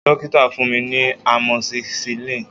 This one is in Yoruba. Dokita fun mi ni amoxicillin